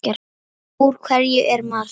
Úr hverju er Mars?